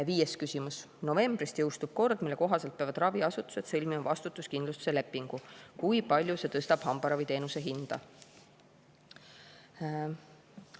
Viies küsimus: "Novembrist jõustub kord, mille kohaselt peavad raviasutused sõlmima vastutuskindlustuse lepingu – kui palju see tõstab hambaraviteenuse hinda?